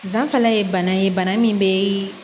Zanfalɛ ye bana ye bana min bɛ